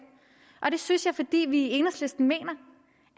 og det synes jeg fordi vi i enhedslisten mener